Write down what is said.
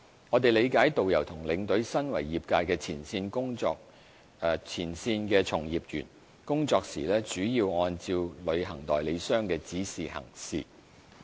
我們理解，導遊和領隊身為業界前線從業員，工作時主要按照旅行代理商的指示行事。